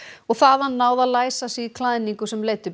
og þaðan náð að læsa sig í klæðninguna sem leiddi upp